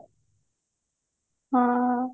ହଁ